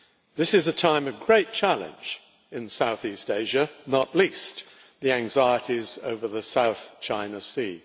This is a time of great challenge in South East Asia, not least the anxieties over the South China Sea.